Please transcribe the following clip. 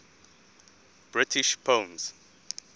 british poems